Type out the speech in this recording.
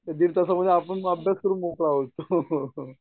दीड तासामध्ये माणूस अभ्यास करून मोकळा होतो.